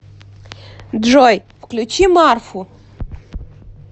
джой включи марфу